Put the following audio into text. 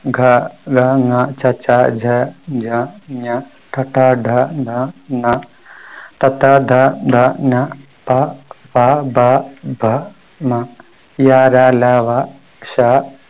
ഗ ഘ ങ ച ഛ ജ ഝ ഞ ട ഠ ഡ ഢ ണ ത ഥ ദ ധ ന പ ഫ ബ ഭ മ യ ര ല വ ശ